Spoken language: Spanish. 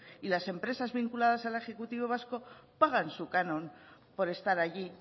y las empresas vinculadas al ejecutivo vasco pagan su canon por estar allí